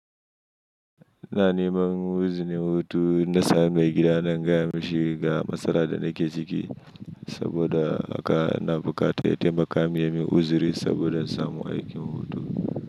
Na neman uzini hutu na samu mai gida na in gaya mishi ga matsalar da nake ciki saboda haka na bukata ya taimaka min ya min uzuri saboda in samu aikin hutu.